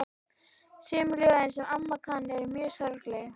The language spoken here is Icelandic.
Sum ljóðin, sem amma kann, eru mjög sorgleg.